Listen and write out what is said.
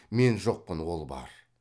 мен жоқпын ол бар